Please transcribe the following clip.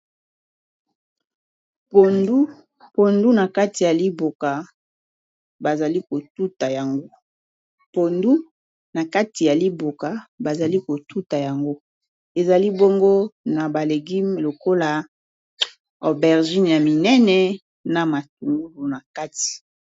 Liboso na biso, tozo mona pondu nakati ya liboka, batiye bongo bikila kila lokola matungulu na solo. Tozali pe komona motute oyo esalisaka ko tuta pondu po te elemba kitoko.